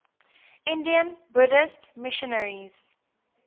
indian buddhist missionaries